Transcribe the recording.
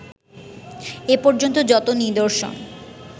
এপর্যন্ত যত নিদর্শন